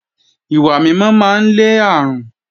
Ìwà mímọ́ máa ń lé àrùn